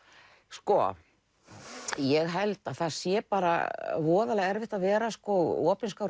sko ég held að það sé bara voðalega erfitt að vera opinskár